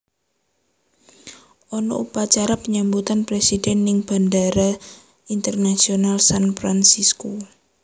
Ono upacara penyambutan presiden ning Bandara Internasional San Fransisco